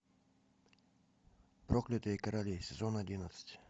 проклятые короли сезон одиннадцать